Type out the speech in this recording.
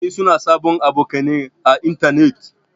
Mutane suna sabon abokanai à intanet.